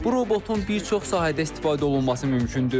Bu robotun bir çox sahədə istifadə olunması mümkündür.